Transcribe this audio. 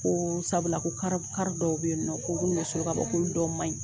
Ko sabula ko ko kar dɔw be yen nɔ ko minnu be sɔli ka bɔ ko dɔ manɲi